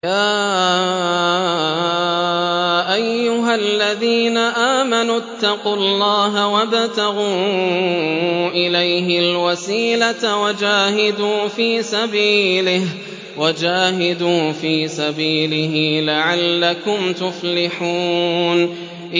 يَا أَيُّهَا الَّذِينَ آمَنُوا اتَّقُوا اللَّهَ وَابْتَغُوا إِلَيْهِ الْوَسِيلَةَ وَجَاهِدُوا فِي سَبِيلِهِ لَعَلَّكُمْ تُفْلِحُونَ